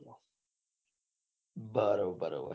બરોબર બરોબર